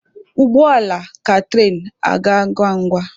Ụgbọ ala ka tụrain aga ngwa ngwa.